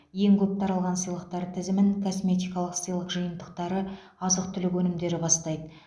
ең көп таралған сыйлықтар тізімін косметикалық сыйлық жиынтықтары азық түлік өнімдері бастайды